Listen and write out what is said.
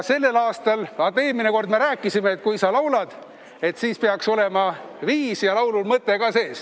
Vaata, eelmine kord me rääkisime, et kui sa laulad, siis peaks olema viis ja laulul mõte ka sees.